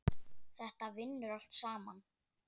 Þetta vinnur allt saman.